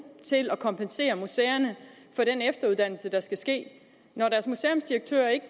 til at kompensere museerne for den efteruddannelse der skal ske når deres museumsdirektører ikke